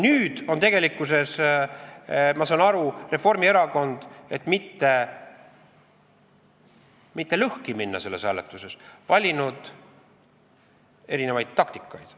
Nüüd on, ma saan aru, Reformierakond, et mitte sellel hääletusel lõhki minna, valinud erinevaid taktikaid.